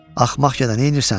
Axmaq gədə, neynirsən?